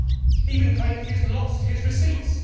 He even claims he has lost his receipts.